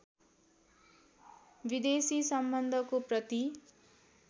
विदेशी सम्बन्धको प्रति